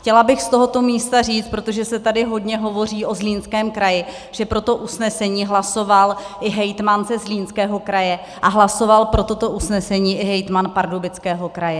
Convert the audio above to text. Chtěla bych z tohoto místa říct, protože se tady hodně hovoří o Zlínském kraji, že pro to usnesení hlasoval i hejtman ze Zlínského kraje a hlasoval pro toto usnesení i hejtman Pardubického kraje.